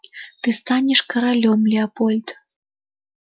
ты станешь королём леопольд